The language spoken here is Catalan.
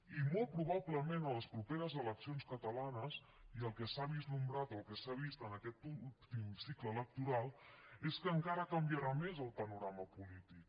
i molt probablement a les properes eleccions catalanes i el que s’ha vislumbrat o el que s’ha vist en aquest últim cicle electoral és que encara canviarà més el panorama polític